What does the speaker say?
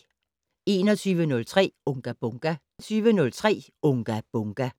21:03: Unga Bunga!